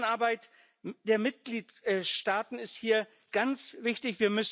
Zusammenarbeit der Mitgliedstaaten ist hier ganz wichtig.